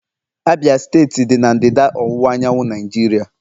Abia steeti dị na ndịda ọwụwa anyanwụ Naijiria.